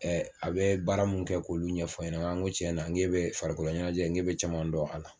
a bɛ baara mun kɛ k'olu ɲɛfɔ ɲɛna ŋ ŋo tiɲɛna ŋ'e bɛ farikolo ɲɛnajɛ ŋ'e bɛ caman dɔn a la.